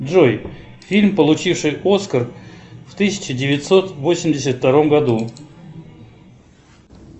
джой фильм получивший оскар в тысяча девятьсот восемьдесят втором году